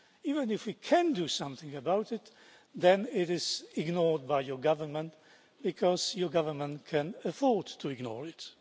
Even if we can do something about it, then it is ignored by your government because your government can afford to ignore it.